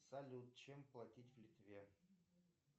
салют чем платить в литве